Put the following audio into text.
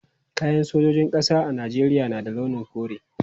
Kayan sojojin ƙasa a Najeriya na da launin kore.